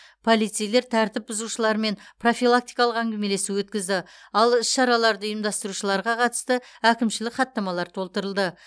полицейлер тәртіп бұзушылармен профилактикалық әңгімелесу өткізді ал іс шараларды ұйымдастырушыларға қатысты әкімшілік хаттамалар толтырылды